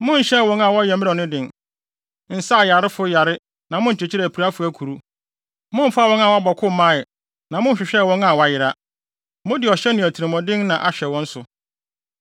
Monhyɛɛ wɔn a wɔyɛ mmerɛw no den, nsaa ayarefo yare na monkyekyeree apirafo akuru. Momfaa wɔn a wɔabɔ ko mmae, na monhwehwɛɛ wɔn a wɔayera. Mode ɔhyɛ ne atirimɔden na ahwɛ wɔn so.